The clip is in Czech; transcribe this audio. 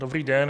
Dobrý den.